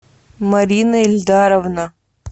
марина эльдаровна